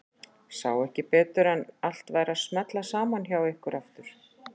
Sá ekki betur en að allt væri að smella saman hjá ykkur aftur.